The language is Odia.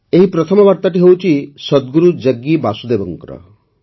ଏହି ପ୍ରଥମ ବାର୍ତ୍ତାଟି ହେଉଛି ସଦ୍ଗୁରୁ ଜଗ୍ଗୀ ବାସୁଦେବଙ୍କର